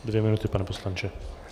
Dvě minuty, pane poslanče.